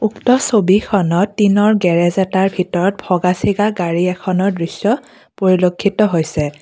উক্ত ছবিখনত টিনৰ গেৰেজ এটাৰ ভিতৰত ভগা ছিগা গাড়ী এখনৰ দৃশ্য পৰিলক্ষিত হৈছে।